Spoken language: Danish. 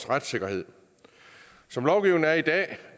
retssikkerhed som lovgivningen er i dag